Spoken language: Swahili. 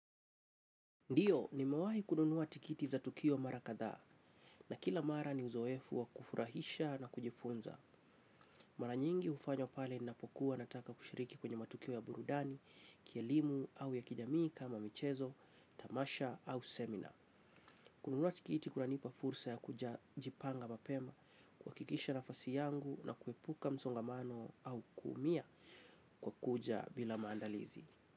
Ndiyo, nimewahi kununuwa tikiti za tukio mara katha na kila mara ni uzoefu wa kufurahisha na kujifunza. Mara nyingi ufanywa pale ninapokuwa nataka kushiriki kwenye matukio ya burudani kielimu au ya kijamii kama michezo, tamasha au seminar. Kununua tikiti kunanipa fursa ya kuja jipanga mapema kuhakikisha nafasi yangu na kuepuka msongamano au kuumia kwa kuja bila maandalizi.